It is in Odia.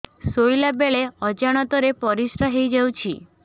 ଶୋଇଲା ବେଳେ ଅଜାଣତ ରେ ପରିସ୍ରା ହେଇଯାଉଛି